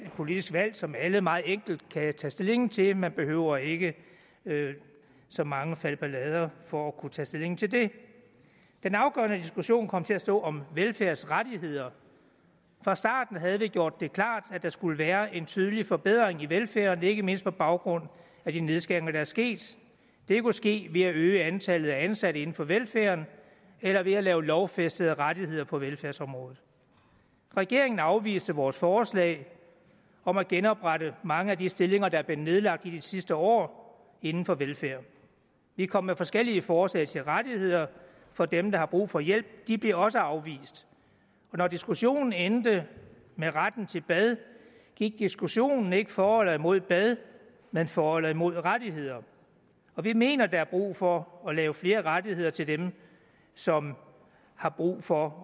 politisk valg som alle meget enkelt kan tage stilling til man behøver ikke så mange falbelader for at kunne tage stilling til det den afgørende diskussion kom til at stå om velfærdsrettigheder fra starten havde vi gjort det klart at der skulle være en tydelig forbedring i velfærden ikke mindst på baggrund af de nedskæringer der er sket det kunne ske ved at øge antallet af ansatte inden for velfærden eller ved at lave lovfæstede rettigheder på velfærdsområdet regeringen afviste vores forslag om at genoprette mange af de stillinger der er blevet nedlagt i de sidste år inden for velfærden vi kom med forskellige forslag til rettigheder for dem der har brug for hjælp de blev også afvist og når diskussionen endte med retten til bad gik diskussionen ikke for eller imod bad men for eller imod rettigheder vi mener der er brug for at lave flere rettigheder til dem som har brug for